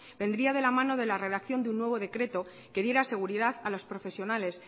vendría de la mano de la redacción de un nuevo decreto que diera seguridad a los profesionales